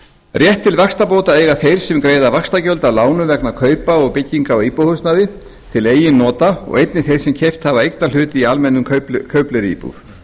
rétt til vaxtabóta eiga þeir sem greiða vaxtagjöld af lánum vegna kaupa og byggingar á íbúðarhúsnæði til eigin nota og einnig þeir sem keypt hafa eignarhlut í almennri kaupleiguíbúð